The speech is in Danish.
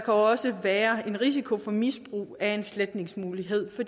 også være en risiko for misbrug af en sletningsmulighed